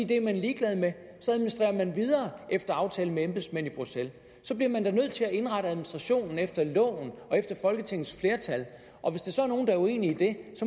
det er man ligeglad med og så administrerer man videre efter aftale med embedsmænd i bruxelles så bliver man da nødt til at indrette administrationen efter loven og efter folketingets flertal og hvis der så er nogen der er uenig i det